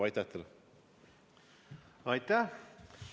Aitäh!